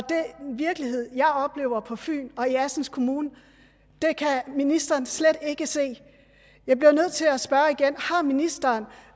den virkelighed jeg oplever på fyn og i assens kommune kan ministeren slet ikke se jeg bliver nødt til at spørge igen har ministeren